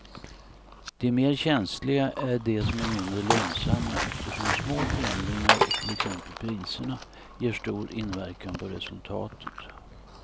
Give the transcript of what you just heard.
De mer känsliga är de som är mindre lönsamma eftersom små förändringar i till exempel priserna ger stor inverkan på resultatet.